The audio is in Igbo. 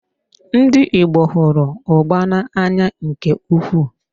Ndị Igbo hụrụ ugba na-anya nke ukwuu.